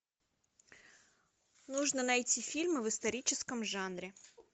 нужно найти фильмы в историческом жанре